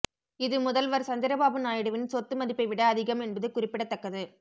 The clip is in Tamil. இது முதல்வர் சந்திரபாபு நாயுடுவின் சொத்து மதிப்பை விட அதிகம் என்பது குறிப்பிடத்ததக்கது